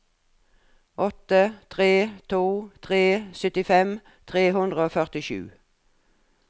åtte tre to tre syttifem tre hundre og førtisju